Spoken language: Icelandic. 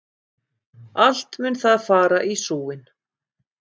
Allt mun það fara í súginn!